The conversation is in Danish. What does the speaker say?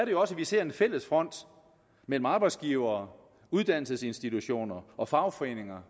jo også at vi ser en fælles front mellem arbejdsgivere uddannelsesinstitutioner og fagforeninger